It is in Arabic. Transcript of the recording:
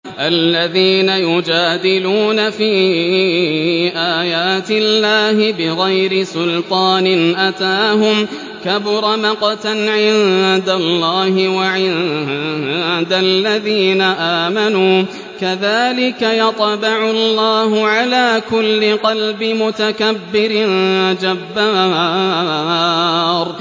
الَّذِينَ يُجَادِلُونَ فِي آيَاتِ اللَّهِ بِغَيْرِ سُلْطَانٍ أَتَاهُمْ ۖ كَبُرَ مَقْتًا عِندَ اللَّهِ وَعِندَ الَّذِينَ آمَنُوا ۚ كَذَٰلِكَ يَطْبَعُ اللَّهُ عَلَىٰ كُلِّ قَلْبِ مُتَكَبِّرٍ جَبَّارٍ